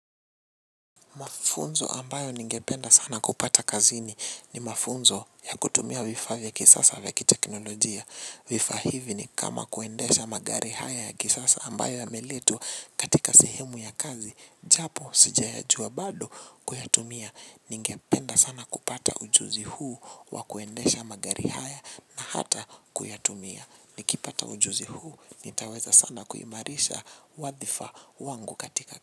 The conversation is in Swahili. Mafunzo ambayo ningependa sana kupata kazini ni mafunzo ya kutumia vifaa vya kisasa vya kiteknolojia. Vifaa hivi ni kama kuendesha magari haya ya kisasa ambayo yameletwa katika sehemu ya kazi, japo sijayajua bado kuyatumia. Ningependa sana kupata ujuzi huu wa kuendesha magari haya na hata kuyatumia. Nikipata ujuzi huu, nitaweza sana kuimarisha wadhifa wangu katika kazini.